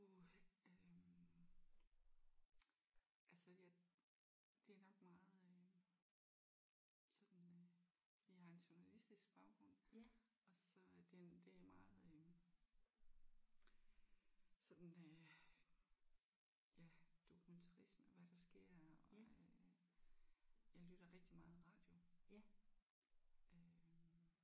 Uh øh altså jeg det er nok meget øh sådan øh fordi jeg har en journalistisk baggrund og så er den det er meget øh sådan øh ja dokumentarisme hvad der sker og øh jeg lytter rigtig meget radio øh